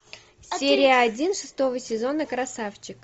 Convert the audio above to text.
серия один шестого сезона красавчик